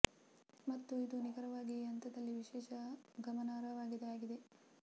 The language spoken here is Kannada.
ಮತ್ತು ಇದು ನಿಖರವಾಗಿ ಈ ಹಂತದಲ್ಲಿ ವಿಶೇಷ ಗಮನ ಅರ್ಹವಾಗಿದೆ ಆಗಿದೆ